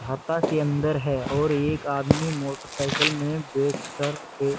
घाता के अंदर है और एक आदमी मोटर साइकिल में बेठ कर के--